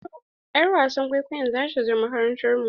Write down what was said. Y'ar wasan kwaikwayon za ta zo makarantar mu.